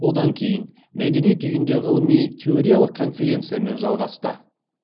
одан кейін мәдениет үйінде ғылыми теориялық конференциямен жалғасты